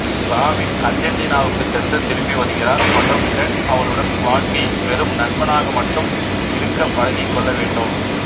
robin அர்ஜென்டினாவுக்கு சென்று திரும்பி வருகிறார் மற்றும் டெட் அவளுடன் வாழ்க்கையில் வெறும் நண்பனாக மட்டும் இருக்க பழகிக்கொள்ள வேண்டும்